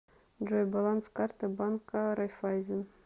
джой баланс карты банка райффайзен